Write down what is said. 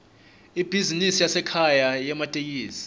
ibhizinisi yasekhaya yematekisi